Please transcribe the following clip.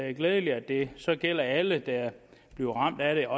er glædeligt at det så gælder alle der bliver ramt af det